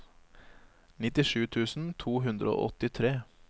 nittisju tusen to hundre og åttitre